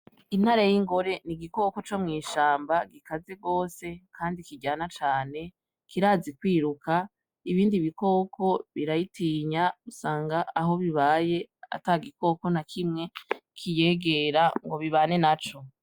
Intare y'ingore :n'igikoko co mwishamba ,gikaze gose kandi kiryana cane, kirazi kwiruka, ibindi bikoko birayitinya usanga aho ibaye atagikoko nakimwe kiyegera ngo bibane naco.